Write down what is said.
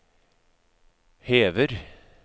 hever